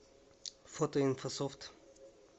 фото инфософт